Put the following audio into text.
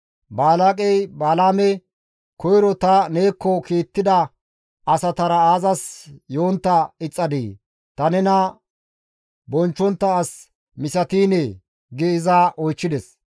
Balaaqey Balaame, «Koyro ta neekko kiittida asatara aazas yontta ixxadii? Ta nena bonchchontta as misatiinee?» gi iza oychchides.